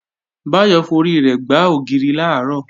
Báyọ̀ forí rẹ̀ gbá ògiri làárọ̀